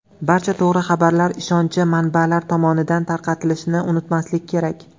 Barcha to‘g‘ri xabarlar ishonchi manbalar tomonidan tarqatilishini unutmaslik kerak.